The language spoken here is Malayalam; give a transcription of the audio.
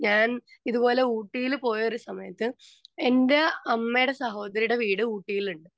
സ്പീക്കർ 2 ഞാൻ ഇതുപോലെ ഊട്ടിയില് പോയൊരു സമയത്തു എന്റെ അമ്മയുടെ സഹോദരിയുടെ വീട് ഊട്ടിയിലുണ്ട്.